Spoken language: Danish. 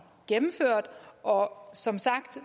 gennemført og som sagt